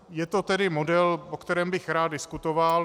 Je to tedy model, o kterém bych rád diskutoval.